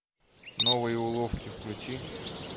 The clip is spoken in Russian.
новые уловки включи